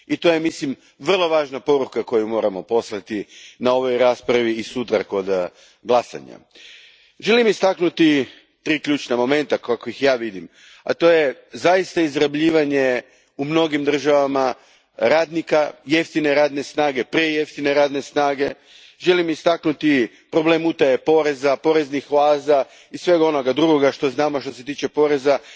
I to je, mislim, vrlo važna poruka koju moramo poslati na ovoj raspravi i sutra kod glasanja. Želim istaknuti tri ključna momenta kako ih ja vidim, a to je zaista izrabljivanje u mnogim državama radnika, jeftine radne snage, prejeftine radne snage, želim istaknuti problem utaje poreza, poreznih oaza i svega onoga drugoga što znamo što se tiče poreza,